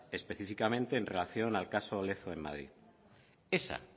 específicamente en relación al caso lezo en madrid